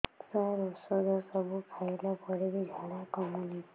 ସାର ଔଷଧ ସବୁ ଖାଇଲା ପରେ ବି ଝାଡା କମୁନି